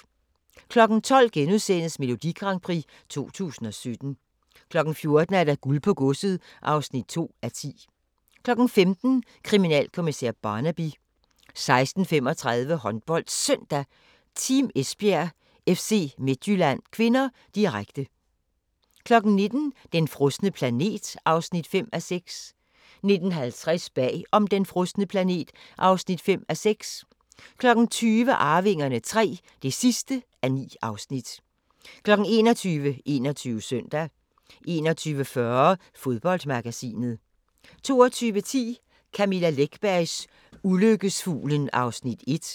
12:00: Melodi Grand Prix 2017 * 14:00: Guld på godset (2:10) 15:00: Kriminalkommissær Barnaby 16:35: HåndboldSøndag: Team Esbjerg-FC Midtjylland (k), direkte 19:00: Den frosne planet (5:6) 19:50: Bag om den frosne planet (5:6) 20:00: Arvingerne III (9:9) 21:00: 21 Søndag 21:40: Fodboldmagasinet 22:10: Camilla Läckbergs Ulykkesfuglen (1:2)